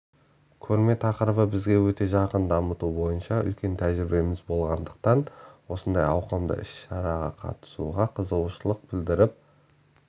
көрме тақырыбы бізге өте жақын дамыту бойынша үлкен тәжірибеміз болғандықтан осындай ауқымды іс-шараға қатысуға қызығушылық білдіріп